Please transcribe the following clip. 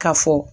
Ka fɔ